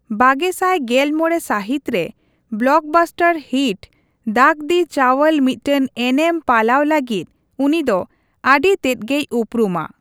ᱵᱟᱜᱮᱥᱟᱭ ᱜᱮᱞ ᱢᱚᱬᱮ ᱥᱟᱹᱦᱤᱛ ᱨᱮ ᱵᱞᱚᱠ ᱵᱟᱥᱴᱟᱨ ᱦᱤᱴ ᱫᱟᱜᱽᱫᱤ ᱪᱟᱣᱞ ᱢᱤᱫᱴᱟᱝ ᱮᱱᱮᱢ ᱯᱟᱞᱟᱣ ᱞᱟᱹᱜᱤᱫ ᱩᱱᱤ ᱫᱚ ᱟᱹᱰᱤ ᱛᱮᱫ ᱜᱮᱭ ᱩᱯᱨᱩᱢᱟ ᱾